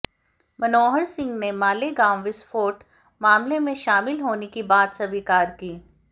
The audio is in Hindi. मनोहर सिंह ने मालेगांव विस्फोट मामले में शामिल होने की बात स्वीकार की